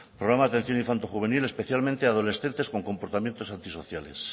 programa de atención infantojuvenil especialmente adolescentes con comportamientos antisociales